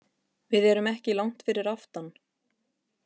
Við erum ekki langt fyrir aftan.